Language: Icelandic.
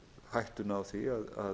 hættuna á því að